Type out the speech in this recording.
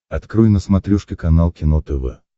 открой на смотрешке канал кино тв